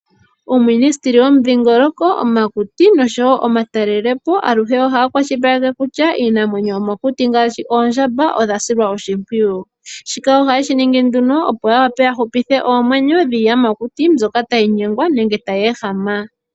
Uuministeli womudhingoloko, omakuti nosho woo omatalelepo aluhe ohaya kwashilipaleke kutya iinamwenyo yomokuti ngaashi oondjamba odha silwa oshimpwiyu. Shika ohaye shiningi nduno opo yahupithe oomwenyo dhiiyamakuti mbyoka tayi nyengwa nenge tayi ehama.